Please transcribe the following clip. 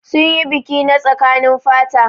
Sun yi biki na tsakanin fata.